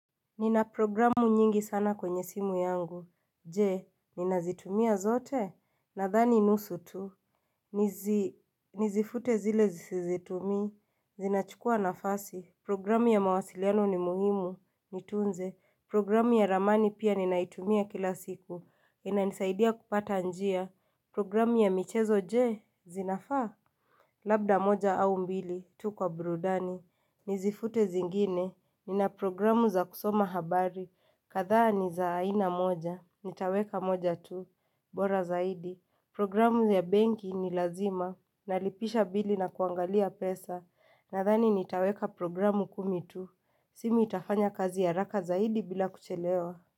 Nina programu nyingi sana kwenye simu yangu. Je, ninazitumia zote? Nadhani nusu tu Nizifute zile sizitumii, zinachukua nafasi. Programu ya mawasiliano ni muhimu, nitunze, programu ya ramani pia ninaitumia kila siku, inanisaidia kupata njia, programu ya michezo je, zinafaa? Labda moja au mbili tu kwa burudani, nizifute zingine. Nina programu za kusoma habari, kadhaa ni za aina moja, nitaweka moja tu, bora zaidi, programu ya benki ni lazima, nalipisha bili na kuangalia pesa, nadhani nitaweka programu kumi tu, simu itafanya kazi haraka zaidi bila kuchelewa.